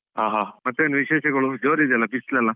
ಹ ಹ, ಮತ್ತೇನು ವಿಶೇಷಗಳು, ಜೋರಿದೆಯಲ್ಲ ಬಿಸಿಲೆಲ್ಲ?